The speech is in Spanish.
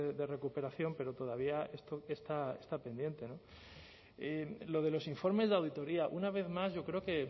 de recuperación pero todavía esto está pendiente lo de los informes de auditoría una vez más yo creo que